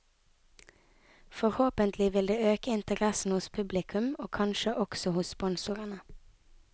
Forhåpentlig vil det øke interessen hos publikum og kanskje også hos sponsorene.